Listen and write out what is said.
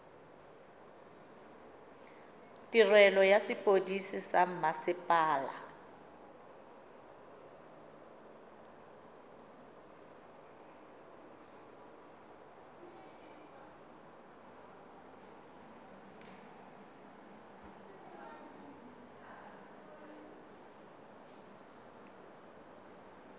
tirelo ya sepodisi sa mmasepala